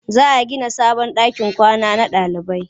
Za a gina sabon ɗakin kwana na ɗalibai.